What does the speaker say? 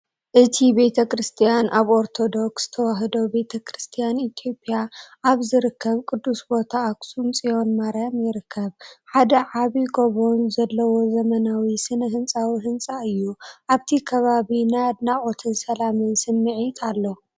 እቲ ቤተ ክርስቲያን ኣብ ኦርቶዶክስ ተዋህዶ ቤተ ክርስቲያን ኢትዮጵያ ኣብ ዝርከብ ቅዱስ ቦታ ኣክሱም ጽዮን ማርያም ይርከብ። ሓደ ዓቢ ጎቦን ዘለዎ ዘመናዊ ስነ ህንጻዊ ህንጻ እዩ። ኣብቲ ከባቢ ናይ ኣድናቖትን ሰላምን ስምዒት ኣሎ።